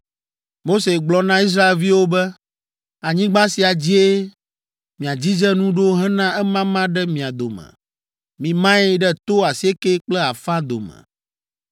Mose gblɔ na Israelviwo be, “Anyigba sia dzie miadzidze nu ɖo hena emama ɖe mia dome. Mimae ɖe to asiekɛ kple afã dome,